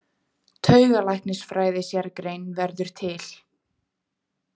Taugalæknisfræði- sérgrein verður til.